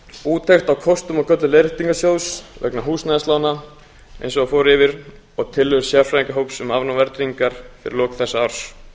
úttekt á kostum og göllum leiðréttingarsjóðs vegna húsnæðislána eins og hann fór yfir og tillögur sérfræðingahóps um afnám verðtryggingar við lok þessa árs